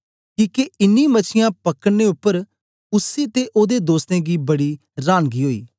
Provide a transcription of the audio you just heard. किके इन्नी मछीयां पकड़े उपर उसी ते ओदे दोस्तें गी बडी रांनगी ओई